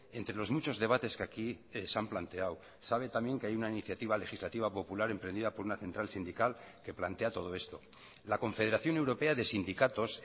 entre los muchos debates que aquí se han planteado sabe también que hay una iniciativa legislativa popular emprendida por una central sindical que plantea todo esto la confederación europea de sindicatos